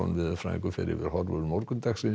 veðurfræðingur fer yfir horfur morgundagsins